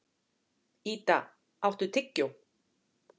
Idda, áttu tyggjó?